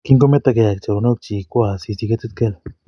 Kingometokei ak choronokchi, kowo Asisi ketit kel